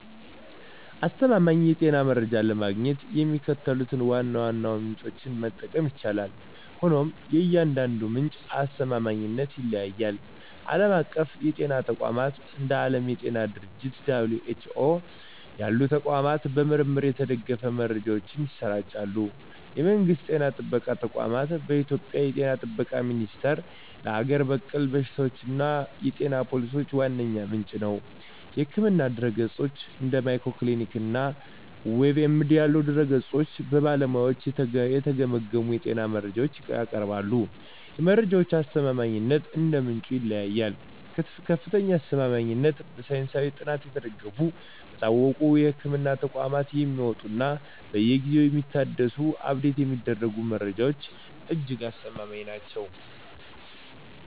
አስተማማኝ የጤና መረጃዎችን ለማግኘት የሚከተሉትን ዋና ዋና ምንጮች መጠቀም ይቻላል፤ ሆኖም የእያንዳንዱ ምንጭ አስተማማኝነት ይለያያል። ዓለም አቀፍ የጤና ተቋማት፦ እንደ ዓለም የጤና ድርጅት (WHO) ያሉ ተቋማት በምርምር የተደገፉ መረጃዎችን ያሰራጫሉ። የመንግስት ጤና ጥበቃ ተቋማት፦ በኢትዮጵያ የ ጤና ጥበቃ ሚኒስቴር ለሀገር በቀል በሽታዎችና የጤና ፖሊሲዎች ዋነኛ ምንጭ ነው። የሕክምና ድረ-ገጾች፦ እንደ Mayo Clinic እና WebMD ያሉ ድረ-ገጾች በባለሙያዎች የተገመገሙ የጤና መረጃዎችን ያቀርባሉ። የመረጃዎቹ አስተማማኝነት እንደ ምንጩ ይለያያል፦ ከፍተኛ አስተማማኝነት፦ በሳይንሳዊ ጥናት የተደገፉ፣ በታወቁ የሕክምና ተቋማት የሚወጡ እና በየጊዜው የሚታደሱ (Update የሚደረጉ) መረጃዎች እጅግ አስተማማኝ ናቸው።